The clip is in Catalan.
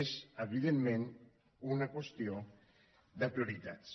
és evidentment una qüestió de prioritats